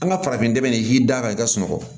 An ka farafin dɛmɛni k'i da ka i ka sunɔgɔ